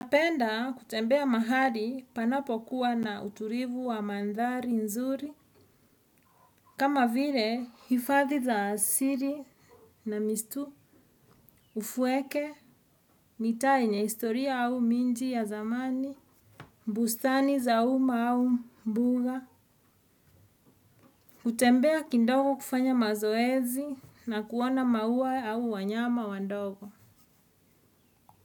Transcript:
Napenda kutembea mahali panapo kuwa na uturivu wa mandhari nzuri. Kama vile, hifadhi za siri na mistu. Ufueke, mita yenye istoria au minji ya zamani. Mbustani za uma au mbuga. Kutembea kindogo kufanya mazoezi na kuona maua au wanyama wa ndogo.